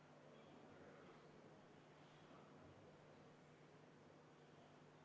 Panen hääletusele 42. muudatusettepaneku, mille esitaja on Eesti Konservatiivse Rahvaerakonna fraktsioon ja mille juhtivkomisjon jättis arvestamata.